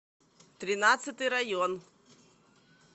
тринадцатый район